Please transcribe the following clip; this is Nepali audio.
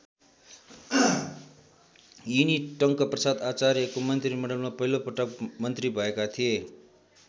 यिनी टङ्कप्रसाद आचार्यको मन्त्रीमण्डलमा पहिलोपटक मन्त्री भएका थिए।